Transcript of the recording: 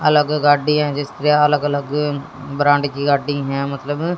अलग गाड्डी हैं जिसके अलग अलग ब्रांड की गाडी हैं मतलब--